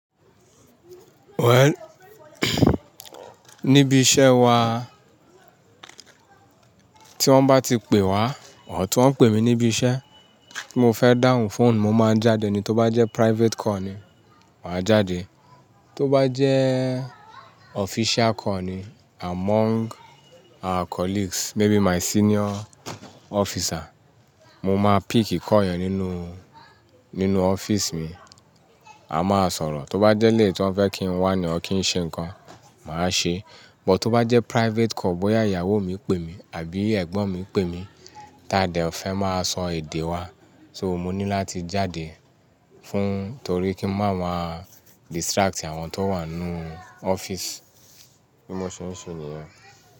Well, níbi iṣẹ́ wa tí wọ́n bá ti pè wá, or tí wọ́n ń pè mi níbi iṣẹ́ tí mo fẹ́ dáhùn fóònù, mo máa n jáde ni. Tó bá jẹ́ private call ni, màá jáde. Tó bá jẹ́ official call ni among our colleagues, maybe my senior officer, mo máa pick call yẹn nínú, nínú office mi. A máa sọ̀rọ̀. Tó bá jẹ́ léyì tí wọ́n fẹ́ kí n wá ni or kí ń ṣe nǹkan, màá ṣe. But tó bá jẹ́ private call, bóyá ìyàwó mi pè mi àbí ẹ̀gbọ́n mi pè mi, t'ade fẹ́ máa sọ èdè wa. So mo ní láti jáde fún-- torí kí n má wá distract àwọn tó wà n nú office bí mo ṣe ń ṣe nìyẹn.